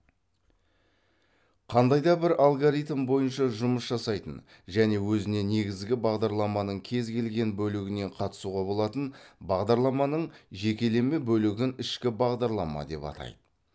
қандай да бір алгоритм бойынша жұмыс жасайтын және өзіне негізгі бағдарламаның кез келген бөлігінен қатысуға болатын бағдарламаның жекелеме бөлігін ішкі бағдарлама деп атайды